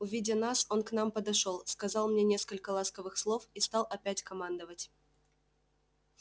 увидя нас он к нам подошёл сказал мне несколько ласковых слов и стал опять командовать